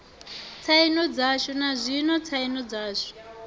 tsaino dzashu nazwino tsaino dzashu